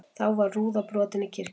Þá var rúða brotin í kirkjunni